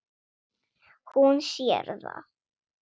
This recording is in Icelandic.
Hún sér það.